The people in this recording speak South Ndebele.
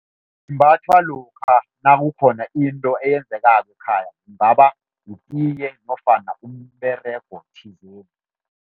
Simbathwa lokha nakukhona into eyenzekako ekhaya, kungaba yitiye nofana umberego thizeni.